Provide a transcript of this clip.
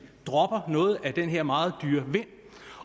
dropper noget af den her meget dyre vind